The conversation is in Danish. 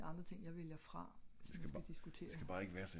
det er nogle helt andre ting jeg vælger fra